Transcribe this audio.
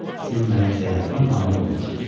Siz mənim səyahətimə mane olmursuz.